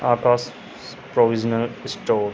Akash provisional store --